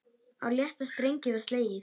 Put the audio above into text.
Á létta strengi var slegið.